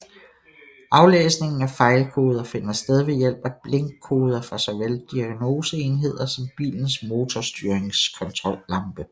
Aflæsningen af fejlkoder finder sted ved hjælp af blinkkoder fra såvel diagnoseenheder som bilens motorstyringskontrollampe